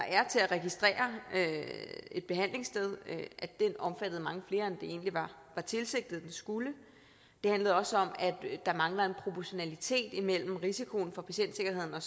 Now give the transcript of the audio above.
er til at registrere et behandlingssted omfattede mange flere end det egentlig var tilsigtet den skulle det handlede også om at der mangler en proportionalitet imellem risikoen for patientsikkerheden og